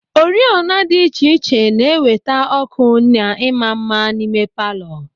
Oriọna dị iche iche na-eweta ọ́kụ́ na ịma mma n'ime palọ.